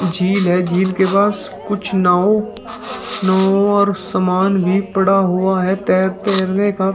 झील है झील के पास कुछ नाव नाव और समान भी पड़ा हुआ है तैर तैरने का।